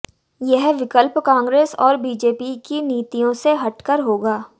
यह विकल्प कांग्रेस और बीजेपी की नीतियों से हटकर होगा